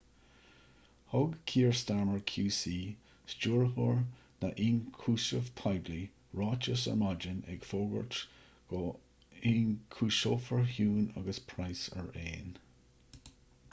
thug kier starmer qc stiúrthóir na ionchúiseamh poiblí ráiteas ar maidin ag fógairt go n-ionchúiseofar huhne agus pryce araon